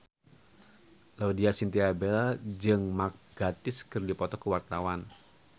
Laudya Chintya Bella jeung Mark Gatiss keur dipoto ku wartawan